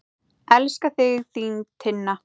Elska þig, þín Tinna.